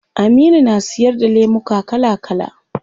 Aminu na siyar da lemuka kala kala